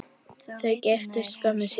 Þau giftust skömmu síðar.